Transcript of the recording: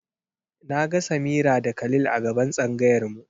Na ga Samira da Khalil a gaban tsangayar mu.